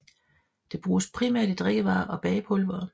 Det bruges primært i drikkevarer og bagepulvere